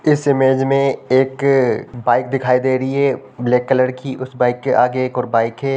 इस इमेज में एक बाइक दिखाई दे रही है ब्लैक कलर की उस बाइक के आगे एक और बाइक है।